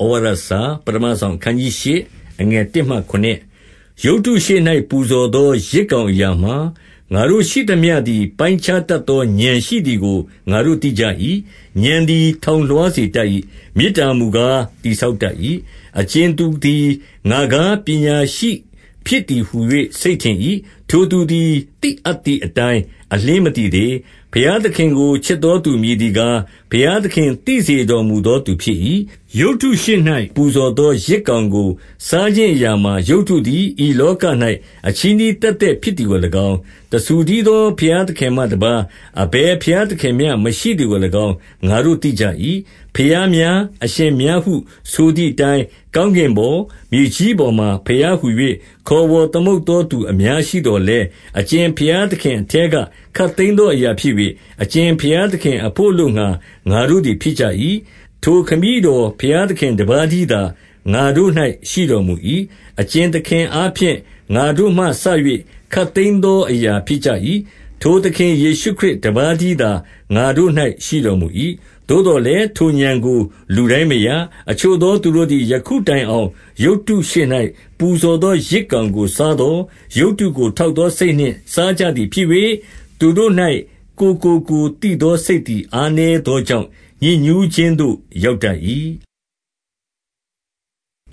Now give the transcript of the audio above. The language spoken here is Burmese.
ဩဝါဒစာ​ပဌမစောင်။ အခနျး 8 အခနျး ၈ ရုပ်တုရှေ့၌ပူဇော်သော ယဇ်ကောင်အရာမှာ၊ ငါတို့ရှိသမျှ သည် ပိုင်းခြားတတ်သော ဥာဏ်ရှိသည်ကို ငါတို့သိကြ၏။ ဥာဏ်သည် ထောင်လွှားစေတတ်၏။ မေတ္တာမူကား တည်ဆောက်တတ်၏။ 2 အကြင်သူသည်၊ ငါကားပညာရှိဖြစ်သည်ဟူ၍ စိတ်ထင်၏။ ထိုသူသည် သိအပ်သည်အတိုင်း အလျှင်း မသိသေး။ 3 ဘုရားသခင်ကိုချစ်သော သူမည်သည်ကား၊ ဘုရားသခင် သိစေတော်မူသော သူဖြစ်၏။ 4 ရုပ်တုရှေ့၌ ပူဇော်သော ယဇ်ကောင်ကို စားခြင်းအရာမှာ၊ ရုပ်တုသည် ဤလောက၌ အချည်းနှီး သက်သက်ဖြစ်သည်ကို၎င်း၊ တဆူတည်းသော ဘုရားသခင်မှတပါး အဘယ်ဘုရားသခင်မျှမရှိသည်ကို၎င်း၊ ငါတို့သိကြ၏။ 5 ဘုရားများ၊ အရှင်များဟုဆိုသည်အတိုင်း ကောင်းကင်ပေါ်၊ မြေကြီးပေါ်မှာ ဘုရားဟူ၍ ခေါ်ဝေါ် သမုတ်သော သူအများရှိသော်လည်း၊ 6 အကြင်ဘုရားသခင်အထဲက ခပ်သိမ်းသော အရာဖြစ်၍၊ အကြင်ဘုရားသခင်အဘို့အလိုငှါ ငါတို့သည် ဖြစ်ကြ၏။ ထိုခမည်းတော်ဘုရားသခင်တပါးတည်းသာ ငါတို့၌ ရှိတော်မူ၏။ အကြင်သခင်အားဖြင့် ငါတို့မှစ၍ ခပ်သိမ်းသောအရာဖြစ်ကြ၏။ ထိုသခင်ယေရှုခရစ်တပါးတည်းသာငါတို့၌ရှိတော်မူ၏။ 7 သို့သော်လည်း ထိုဥာဏ်ကို လူတိုင်းမရ။ အချို့ သော သူတို့သည် ယခုတိုင်အောင်ရုပ်တုရှေ့၌ ပူဇော် သော ယဇ်ကောင်ကိုစားသော်၊ ရုပ်တုကို ထောက်သော စိတ်နှင့်စားကြသည်ဖြစ်၍၊ သူတို့၌ကိုယ်ကို ကိုယ်သိသော စိတ်သည်အားနည်းသောကြောင့် ညစ်ညူးခြင်းသို့ ရောက်တတ်၏။ 8